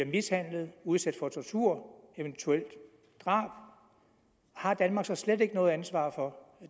mishandlet udsat for tortur og eventuelt drab har danmark så slet ikke noget ansvar for